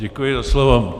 Děkuji za slovo.